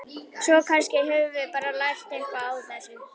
Svo kannski höfum við bara lært eitthvað á þessu.